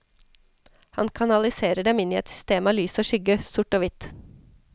Han kanaliserer dem inn i et system av lys og skygge, sort og hvitt.